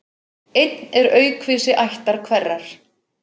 Einn er aukvisi ættar hverrar.